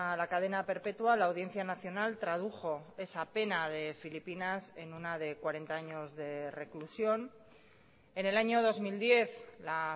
la cadena perpetua la audiencia nacional tradujo esa pena de filipinas en una de cuarenta años de reclusión en el año dos mil diez la